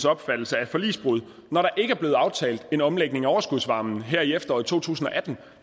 opfattelse er et forligsbrud når der ikke er blevet aftalt en omlægning af overskudsvarmen her i efteråret to tusind og atten